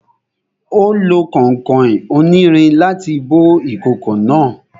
Ó lo kànkàn onírin láti bó ìkòkò náà